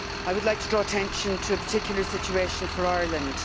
I would like to draw attention to a particular situation for Ireland.